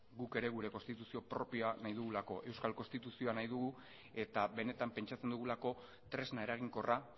guk ere gure konstituzio propioa nahi dugulako euskal konstituzioa nahi dugu eta benetan pentsatzen dugulako tresna eraginkorra